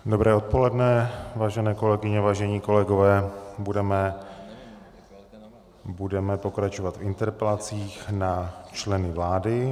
Dobré odpoledne, vážené kolegyně, vážení kolegové, budeme pokračovat v interpelacích na členy vlády.